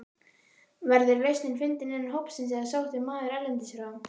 Verður lausnin fundin innan hópsins eða sóttur maður erlendis frá?